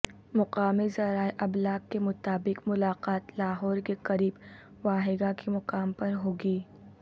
مقامی ذرائع ابلاغ کے مطابق ملاقات لاہور کے قریب واہگہ کے مقام پر ہو گی